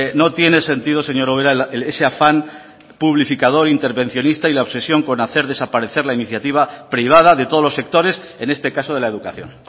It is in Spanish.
no tiene sentido señora ubera ese afán publificador e intervencionista y la obsesión con hacer desaparecer la iniciativa privada de todos los sectores en este caso de la educación